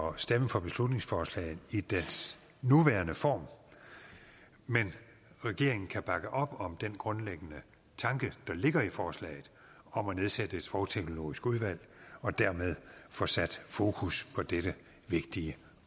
at stemme for beslutningsforslaget i dets nuværende form men regeringen kan bakke op om den grundlæggende tanke der ligger i forslaget om at nedsætte et sprogteknologisk udvalg og dermed få sat fokus på dette vigtige